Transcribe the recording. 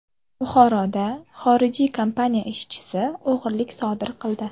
Buxoroda xorijiy kompaniya ishchisi o‘g‘rilik sodir qildi.